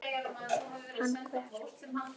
Hann hver?